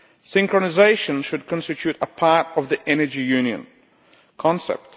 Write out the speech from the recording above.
Synchronisation should constitute a part of the energy union concept.